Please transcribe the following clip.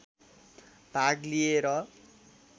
भाग लिए र